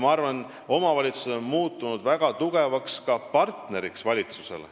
Ma arvan, et omavalitsused on muutunud väga tugevaks partneriks valitsusele.